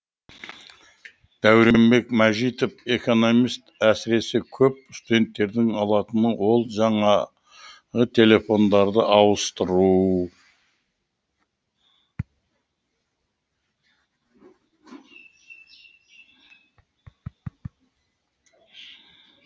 дәуренбек мажитов экономист әсіресе көп студенттердің алатыны ол жаңағы телефондарды ауыстыру